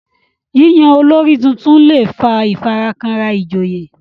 yíyan olórí títún lẹ fà ifarakanra ijoye